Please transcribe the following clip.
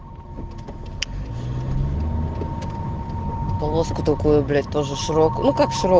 полоска такое блять тоже шрек